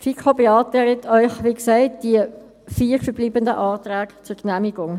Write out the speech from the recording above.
Die FiKo beantragt Ihnen, wie gesagt, die vier verbleibenden Anträge zur Genehmigung.